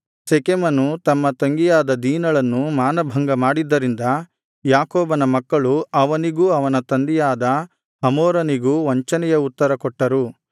ಶೆಕೆಮನು ತಮ್ಮ ತಂಗಿಯಾದ ದೀನಳನ್ನು ಮಾನಭಂಗ ಮಾಡಿದ್ದರಿಂದ ಯಾಕೋಬನ ಮಕ್ಕಳು ಅವನಿಗೂ ಅವನ ತಂದೆಯಾದ ಹಮೋರನಿಗೂ ವಂಚನೆಯ ಉತ್ತರಕೊಟ್ಟರು